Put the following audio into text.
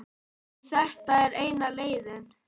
En þetta var eina leiðin.